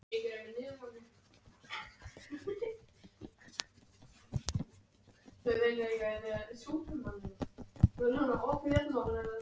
Því var hún upphaf-lega kölluð Grasbíturinn.